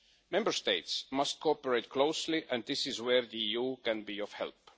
Member States must cooperate closely and this is where the EU can be of help.